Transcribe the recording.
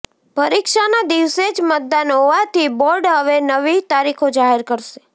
પરીક્ષાનાં દિવસે જ મતદાન હોવાથી બોર્ડ હવે નવી તારીખો જાહેર કરશે